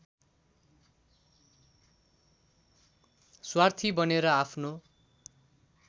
स्वार्थी बनेर आफ्नो